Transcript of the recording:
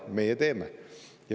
Meie teeme.